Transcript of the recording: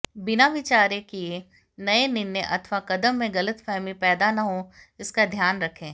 बिना विचारे किए गए निर्णय अथवा कदम से गलतफहमी पैदा न हो इसका ध्यान रखें